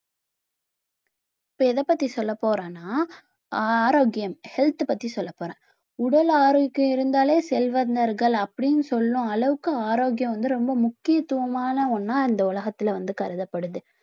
இப்ப எதைப்பத்தி சொல்லப்போறேன்னா ஆரோக்கியம் health பத்தி சொல்லப் போறேன் உடல் ஆரோக்கியம் இருந்தாலே செல்வந்தர்கள் அப்பிடின்னு சொல்லும் அளவுக்கு ஆரோக்கியம் வந்து ரொம்ப முக்கியத்துவமான ஒண்ணா இந்த உலகத்துல வந்து கருதப்படுது